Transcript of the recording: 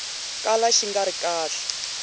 kala xi nga ri kahle